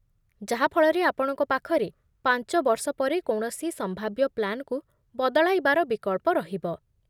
ଯାହାଫଳରେ ଆପଣଙ୍କ ପାଖରେ ପାଞ୍ଚ ବର୍ଷ ପରେ କୌଣସି ସମ୍ଭାବ୍ୟ ପ୍ଲାନ୍‌କୁ ବଦଳାଇବାର ବିକଳ୍ପ ରହିବ ।